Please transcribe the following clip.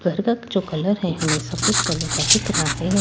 घर का जो कलर है हमें सफेद कलर का दिख रहा है।